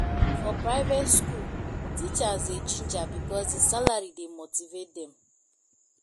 for private skool teachers dey ginger because di salary dey motivate dem